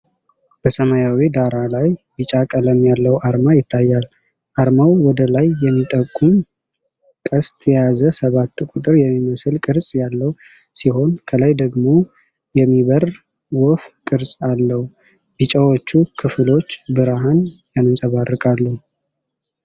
በሰማያዊ ዳራ ላይ ቢጫ ቀለም ያለው አርማ ይታያል። አርማው ወደ ላይ የሚጠቁም ቀስት የያዘ ሰባት ቁጥር የሚመስል ቅርጽ ያለው ሲሆን፤ ከላይ ደግሞ የሚበር ወፍ ቅርጽ አለው። ቢጫዎቹ ክፍሎች ብርሃን ያንጸባርቃሉ።